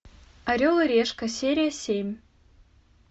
орел и решка серия семь